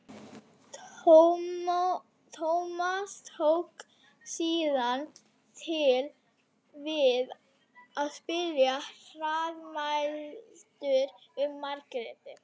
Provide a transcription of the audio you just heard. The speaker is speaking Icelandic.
Sterkustu áhrifin til meðvitaðrar afstöðu komu síðan frá Sigurbirni